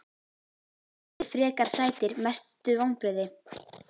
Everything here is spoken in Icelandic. Allir frekar sætir Mestu vonbrigði?